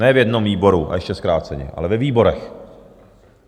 Ne v jednom výboru a ještě zkráceně, ale ve výborech.